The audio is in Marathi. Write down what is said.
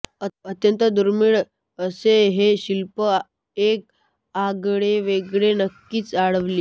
अत्यंत दुर्मिळ असे हे शिल्प एक आगळेवेगळे नक्कीच आवडेल